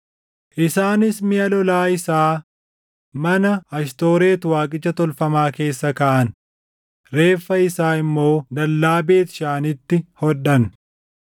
Isaanis miʼa lolaa isaa mana Ashtooreti waaqicha tolfamaa keessa kaaʼan; reeffa isaa immoo dallaa Beet Shaanitti hodhan.